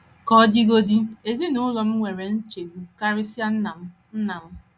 Ka ọ dịgodị, ezinụlọ m nwere nchegbu, karịsịa nna m, nna m.